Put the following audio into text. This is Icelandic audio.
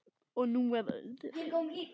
Og nú að öðru.